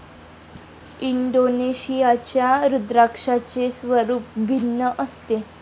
इंडोनेशियाच्या रुद्राक्षाचे स्वरूप भिन्न असते.